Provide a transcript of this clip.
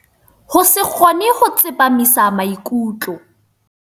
Ho se kgone ho tsepamisa maikutlo.